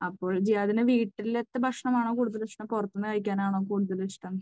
അപ്പോൾ ജിയാദിന് വീട്ടിലത്തെ ഭക്ഷണമാണോ കൂടുതലിഷ്ടം? പുറത്തുനിന്ന് കഴിക്കാൻ ആണോ കൂടുതൽ ഇഷ്ടം?